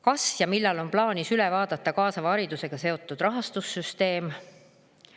Kas ja millal on plaanis üle vaadata kaasava hariduse rahastussüsteem?